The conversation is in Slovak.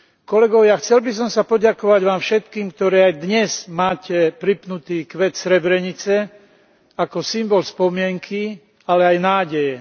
Kolegovia, chcel by som sa poďakovať vám všetkým, ktorí aj dnes máte pripnutý kvet Srebrenice ako symbol spomienky, ale aj nádeje.